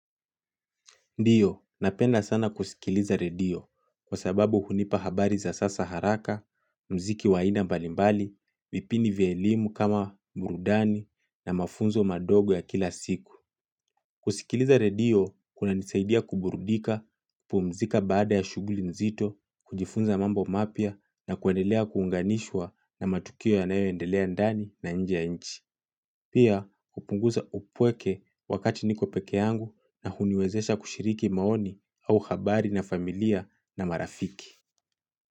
Ndiyo, napenda sana kusikiliza redio kwa sababu hunipa habari za sasa haraka, mziki wa aina mbalimbali, vipindi vya elimu kama burudani na mafunzo madogo ya kila siku. Kusikiliza redio kunanisaidia kuburudika, pumzika baada ya shuguli nzito, kujifunza mambo mapya na kuendelea kuunganishwa na matukio yanayoendelea ndani na nje ya nchi. Pia upunguza upweke wakati niko peke yangu na huniwezesha kushiriki maoni au habari na familia na marafiki.